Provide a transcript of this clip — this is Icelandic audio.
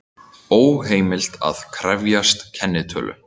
Óheimilt að krefjast kennitölu